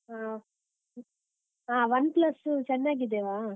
ಹಾ ಹ OnePlus ಚೆನ್ನಗಿದ್ದೇವಾ?